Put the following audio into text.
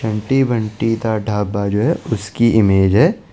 Bunty Bunty the dhaba जो है उसकी इमेज है।